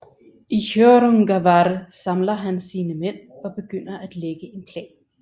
I Hjörungavágr samler han sine mænd og begynder at lægge en plan